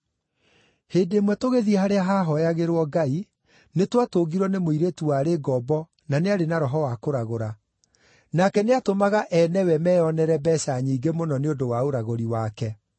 Hĩndĩ ĩmwe tũgĩthiĩ harĩa haahooyagĩrwo Ngai, nĩtwatũngirwo nĩ mũirĩtu warĩ ngombo na nĩarĩ na roho wa kũragũra. Nake nĩatũmaga ene we meonere mbeeca nyingĩ mũno nĩ ũndũ wa ũragũri wake